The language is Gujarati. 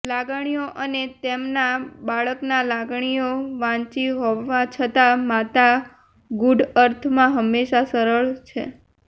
લાગણીઓ અને તેમના બાળકના લાગણીઓ વાંચી હોવા છતાં માતા ગૂઢ અર્થમાં હંમેશા સરળ છે